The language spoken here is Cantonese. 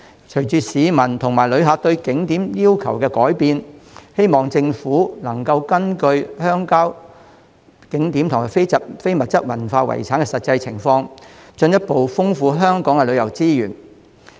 隨着市民和旅客對景點要求的改變，我希望政府能根據鄉郊景點和非遺的實際情況，進一步豐富香港的旅遊資源。